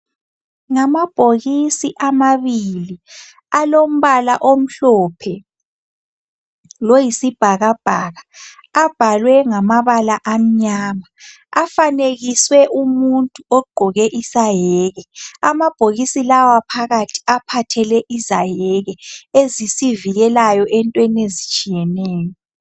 Ngamabhokisi amabili alombala omhlophe loyisibhakabhaka. Abhalwe ngamabala amnyama afanekiswe umuntu ogqoke isaheki. Amabokisi lawa phakathi aphathele izaheki ezisivikileyo entweni ezitshiyeneyo.